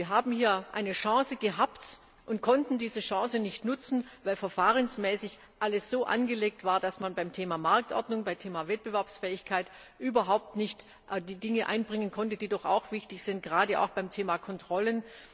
Wir haben hier eine Chance gehabt und konnten diese Chance nicht nutzen, weil verfahrensmäßig alles so angelegt war, dass man beim Thema Marktordnung, beim Thema Wettbewerbsfähigkeit überhaupt nicht die Dinge einbringen konnte, die doch auch wichtig sind, gerade auch beim Thema Kontrollen.